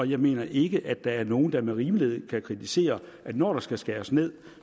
jeg mener ikke at der er nogen der med rimelighed kan kritisere at når der skal skæres ned